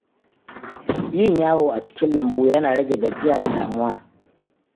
Yin yawo a cikin lambu yana rage gajiya da damuwa.